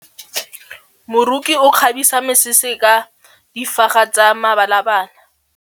Moroki o kgabisa mesese ka difaga tsa mebalabala.